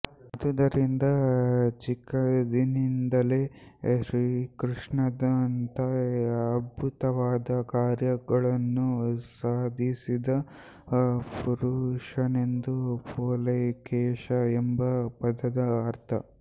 ಆದುದರಿಂದ ಚಿಕ್ಕಂದಿನಿಂದಲೇ ಶ್ರೀಕೃಷ್ಣನಂತೆ ಅದ್ಭುತವಾದ ಕಾರ್ಯಗಳನ್ನು ಸಾಧಿಸಿದ ಪುರುಷನೆಂದು ಪೊಲೆಕೇಶಿ ಎಂಬ ಪದದ ಅರ್ಥ